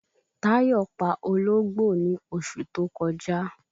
Táyọ̀ pa Ológbò ní osù tó kọjá